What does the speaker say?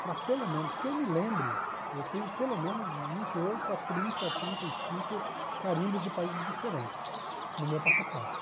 para pelo menos, que eu me lembre, eu tenho pelo menos vinte e oito a trinta, trinta e cinco carimbos de países diferentes no meu passaporte.